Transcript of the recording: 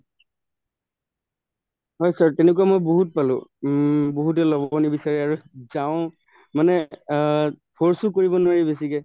হয়, sir তেনেকুৱা মই বহুত পালো উম বহুতে লব নিবিচাৰে আৰু মানে অ force ও কৰিব নোৱাৰি বেছিকে